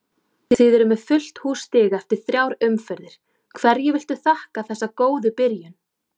Þið eruð með fullt hús stiga eftir þrjár umferðir, hverju viltu þakka þessa góðu byrjun?